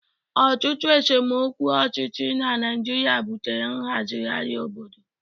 Ọtụtụ esemokwu ọchịchị na Naịjirịa butere nhazigharị obodo.